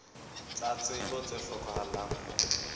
tsa tsebo tse hlokahalang ho